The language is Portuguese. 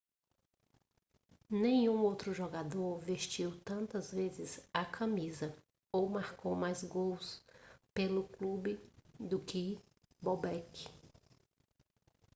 nenhum outro jogador vestiu tantas vezes a camisa ou marcou mais gols pelo clube do que bobek